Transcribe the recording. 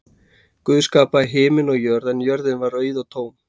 Guð skapaði himin og jörð en jörðin var auð og tóm.